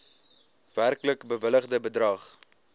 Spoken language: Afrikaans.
werklik bewilligde bedrag